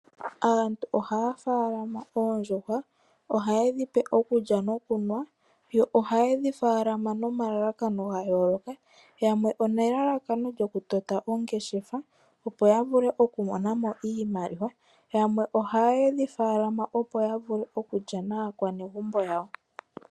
Aantu oha ya faalama oondjuhwa oha ye dhipe okulya nokunwa yo oha ye dhi faalama nomalalakano ga yooloka yamwe one lalakano lyokutota ongeshefa opo ya vule okumonamo iimaliwa yamwe oha ye dhi faalama opo ya vule okulya naakwanegumbo yawo.